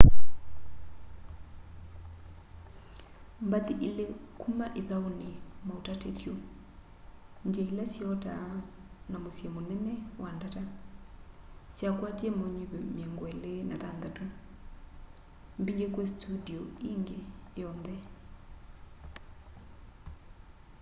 mbathi ili kuma ithauni mautatithyo ndia ila syotaa na musyi munene wa ndata syakwatie maunyuvi miongo ili na thanthatu - mbingi kwi studio ingi yonthe